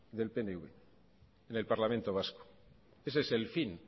del pnv en el parlamento vasco ese es el fin